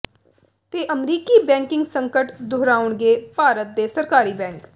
ਤੇ ਅਮਰੀਕੀ ਬੈਂਕਿੰਗ ਸੰਕਟ ਦੁਹਰਾਉਣਗੇ ਭਾਰਤ ਦੇ ਸਰਕਾਰੀ ਬੈਂਕ